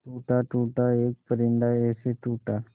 टूटा टूटा एक परिंदा ऐसे टूटा